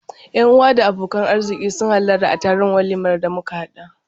Yan-uwa da abokan arziƙi sun hallara a taron walimar da muka haɗa.